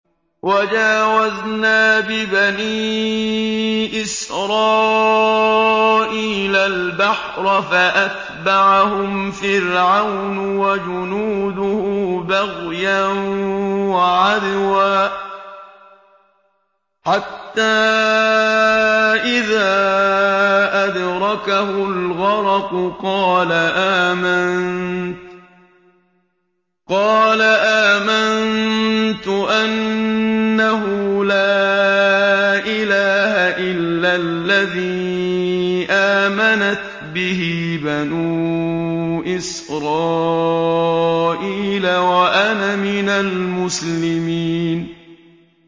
۞ وَجَاوَزْنَا بِبَنِي إِسْرَائِيلَ الْبَحْرَ فَأَتْبَعَهُمْ فِرْعَوْنُ وَجُنُودُهُ بَغْيًا وَعَدْوًا ۖ حَتَّىٰ إِذَا أَدْرَكَهُ الْغَرَقُ قَالَ آمَنتُ أَنَّهُ لَا إِلَٰهَ إِلَّا الَّذِي آمَنَتْ بِهِ بَنُو إِسْرَائِيلَ وَأَنَا مِنَ الْمُسْلِمِينَ